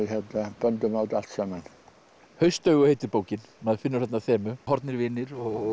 böndum á þetta allt saman haustaugu heitir bókin maður finnur þarna þemu horfnir vinir og